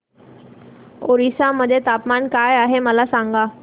ओरिसा मध्ये तापमान काय आहे मला सांगा